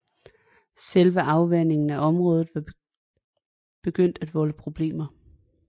Selve afvandingen af området var begyndt at volde problemer